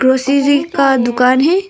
खुशी जी का दुकान है।